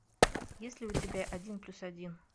есть ли у тебя один плюс один